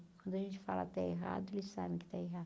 Quando a gente fala está errado, eles sabem que está